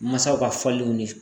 Masaw ka faliw ni